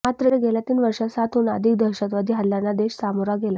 मात्र गेल्या तीन वर्षांत सातहून अधिक दहशतवादी हल्ल्यांना देश सामोरा गेला